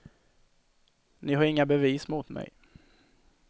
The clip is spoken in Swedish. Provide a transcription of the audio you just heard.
Ni har inga bevis mot mig.